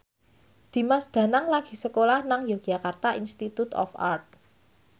Dimas Danang lagi sekolah nang Yogyakarta Institute of Art